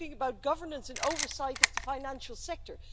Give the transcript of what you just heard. We're talking about governance and oversight of the financial sector.